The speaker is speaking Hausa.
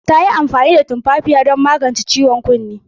Ta yi amfani da tumfafiya don magance ciwon kunnenta.